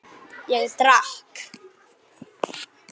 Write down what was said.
Ég drakk.